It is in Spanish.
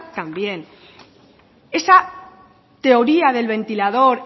también esa teoría del ventilador